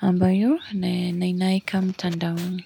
ambayo ninaiweka mtandaoni.